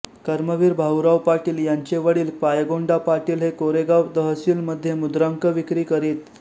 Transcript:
कर्मवीर भाऊराव पाटील यांचे वडील पायगोंडा पाटील हे कोरेगाव तहसील मध्ये मुद्रांक विक्री करीत